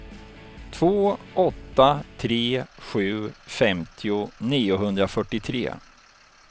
två åtta tre sju femtio niohundrafyrtiotre